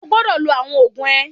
O gbọ́dọ̀ lo àwọn oògùn ẹ!